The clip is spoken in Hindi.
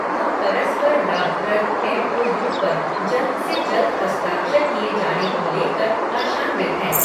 हम परस्पर लाभप्रद एम ओ यू पर जल्द से जल्द हस्ताक्षर किए जाने को लेकर आशान्वित हैं।